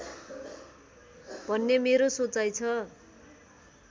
भन्ने मेरो सोचाइ छ